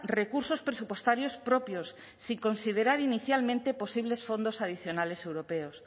recursos presupuestarios propios sin considerar inicialmente posibles fondos adicionales europeos